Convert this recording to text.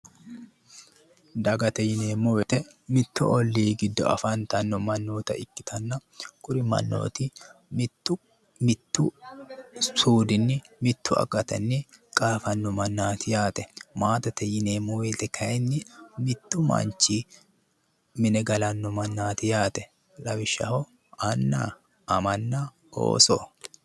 Dagate yineemmo woyte mitu olli giddo afantanno mannotta ikkittanna kuri mannoti mitu suudini mitu akkatinni qaafano mannati yaate. Maate yinneemmo woyte kayinni mitu manchi mine gallanno mannati yaate. lawishshaho Anna amanna ooso